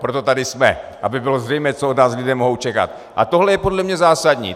Proto tady jsme, aby bylo zřejmé, co od nás lidé mohou čekat, a tohle je podle mne zásadní.